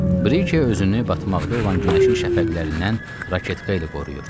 Brike özünü batmaqda olan günəşin şəfəqlərindən raketka ilə qoruyurdu.